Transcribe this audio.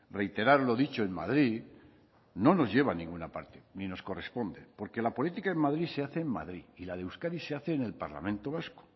reiterar lo dicho en madrid no nos lleva a ninguna parte ni nos corresponde porque la política en madrid se hace en madrid y la de euskadi se hace en el parlamento vasco